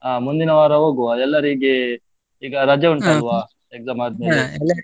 ಅಹ್ ಮುಂದಿನ ವಾರ ಹೋಗ್ವಾ ಎಲ್ಲರಿಗೆ ಈಗ ರಜೆ ಉಂಟಲ್ವಾ, exam .